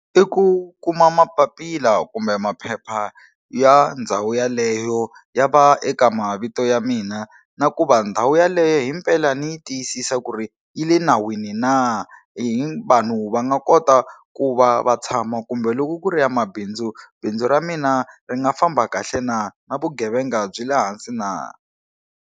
I ku kuma mapapila kumbe maphepha ya ndhawu yeleyo ya va eka mavito ya mina na ku va ndhawu yaleyo himpela ndzi yi tiyisisa ku ri yi le nawini na hi hi vanhu va nga kota ku va va tshama kumbe loko ku ri ya mabindzu bindzu ra mina ri nga famba kahle na na vugevenga byi le hansi na.